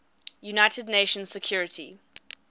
united nations security